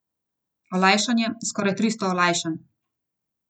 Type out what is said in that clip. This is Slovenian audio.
Olajšanje, skoraj tristo olajšanj.